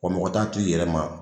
Wa mɔgɔ t'a t'i yɛrɛ ma.